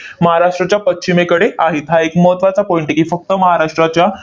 महाराष्ट्राच्या पश्चिमेकडे आहेत. हा एक महत्त्वाचा point आहे की, फक्त महाराष्ट्राच्या